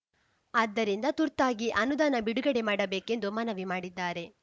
ಆದ್ದರಿಂದ ತುರ್ತಾಗಿ ಅನುದಾನ ಬಿಡುಗಡೆ ಮಾಡಬೇಕೆಂದು ಮನವಿ ಮಾಡಿದ್ದಾರೆ